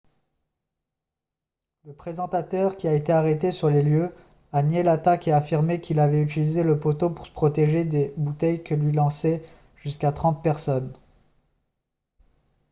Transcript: le présentateur qui a été arrêté sur les lieux a nié l'attaque et affirmé qu'il avait utilisé le poteau pour se protéger des bouteilles que lui lançaient jusqu'à trente personnes